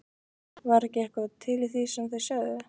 Var ekki eitthvað til í því sem þeir sögðu?